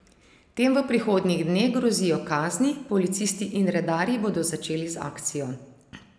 Tem v prihodnjih dneh grozijo kazni, policisti in redarji bodo začeli z akcijo.